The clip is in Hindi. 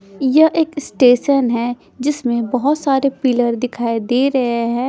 यह एक स्टेशन है जिसमें बहोत सारे पिलर दिखाई दे रहे हैं।